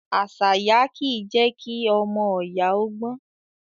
Àṣàyá kì í je kí ọmọ oyà ó gbon.